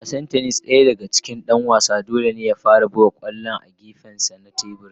A wasan tennis .Daya daga cikin Dan wasan dole ne ya fara buga kwallon a gefensa na teburin.